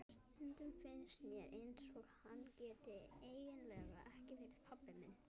Stundum finnst mér eins og hann geti eiginlega ekki verið pabbi minn.